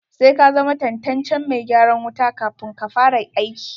Sai ka zama tantancen mai gyaran wuta kafun ka fara aiki.